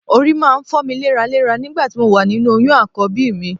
Orí máa ń fọ́ mi léraléra nígbà tí mo wà nínú oyún Àkọ́bí mi